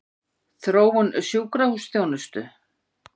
Þróun sjúkrahúsþjónustu?